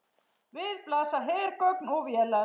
Við blasa hergögn og vélar.